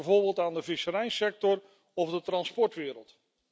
Denk bijvoorbeeld aan de visserijsector of de transportwereld.